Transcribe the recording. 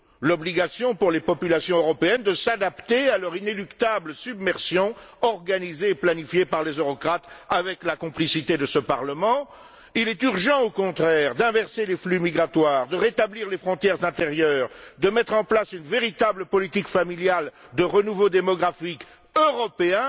l'obligation, pour les populations européennes, de s'adapter à leur inéluctable submersion organisée et planifiée par les eurocrates, avec la complicité de ce Parlement. Il est, au contraire, urgent d'inverser les flux migratoires, de rétablir les frontières intérieures, de mettre en place une véritable politique familiale de renouveau démographique européen,